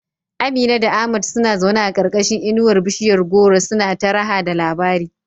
Amina da Ahmad suna zaune a karkashin inuwar bishiyar goro suna ta raha da labari.